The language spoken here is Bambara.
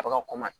A bɛ ka